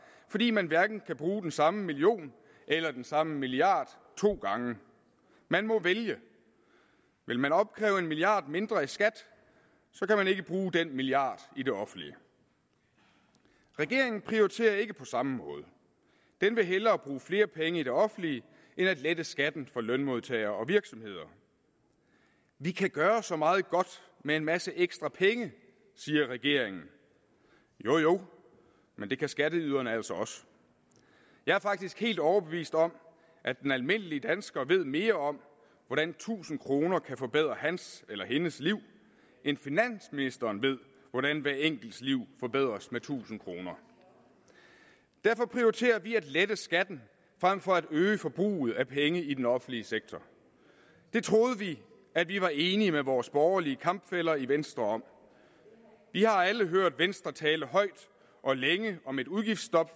fordi man hverken kan bruge den samme million eller den samme milliard to gange man må vælge vil man opkræve en milliard kroner mindre i skat kan man ikke bruge den milliard i det offentlige regeringen prioriterer ikke på samme måde den vil hellere bruge flere penge i det offentlige end at lette skatten for lønmodtagere og virksomheder vi kan gøre så meget godt med en masse ekstra penge siger regeringen jo jo men det kan skatteyderne altså også jeg er faktisk helt overbevist om at den almindelige dansker ved mere om hvordan tusind kroner kan forbedre hans eller hendes liv end finansministeren ved hvordan hvert enkelt liv forbedres med tusind kroner derfor prioriterer vi at lette skatten frem for at øge forbruget af penge i den offentlige sektor det troede vi at vi var enige med vores borgerlige kampfæller i venstre om vi har alle hørt venstre tale højt og længe om et udgiftsstop